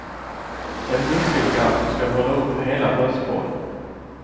En muskelkraft som ska hålla upp hela bröstkorgen.